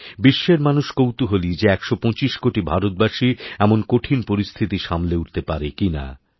বিশ্বেরমানুষ কৌতূহলী যে ১২৫ কোটি ভারতবাসী এমন কঠিন পরিস্থিতি সামলে উঠতে পারে কিনা